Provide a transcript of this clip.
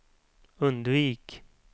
undvik